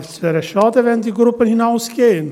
Es wäre schade, wenn die Gruppen hinausgingen.